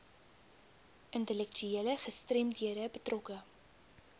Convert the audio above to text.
intellektuele gestremdhede betrokke